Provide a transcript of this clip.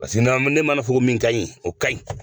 Paseke na ne ma na fɔ ko min ka ɲi ,o ka ɲi.